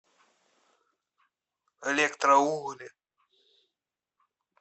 электроугли